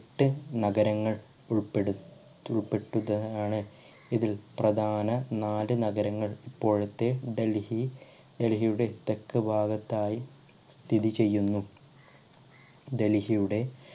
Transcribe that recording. ട്ട് നഗരങ്ങൾ ഉൾപ്പെടു ഉൾപെട്ടിട്ടാണ് ഇതിൽ പ്രധാന നാല് നഗരങ്ങൾ ഇപ്പോഴത്തെ ഡൽഹി ഡൽഹിയുടെ തെക്കുഭാഗത്തായി സ്ഥിതിചെയ്യുന്നു. ഡൽഹിയുടെ